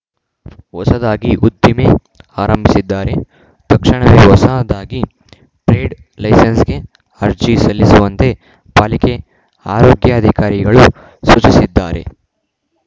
ಹೊಸದಾಗಿ ಉದ್ದಿಮೆ ಆರಂಭಿಸಿದ್ದಾರೆ ತಕ್ಷಣವೇ ಹೊಸ ದಾಗಿ ಟ್ರೇಡ್‌ ಲೈಸೆನ್ಸ್‌ಗೆ ಅರ್ಜಿ ಸಲ್ಲಿಸುವಂತೆ ಪಾಲಿಕೆ ಆರೋಗ್ಯಾಧಿಕಾರಿಗಳು ಸೂಚಿಸಿದ್ದಾರೆ